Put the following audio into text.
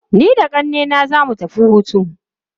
Ni da ƙannena za mu tafiya hutu.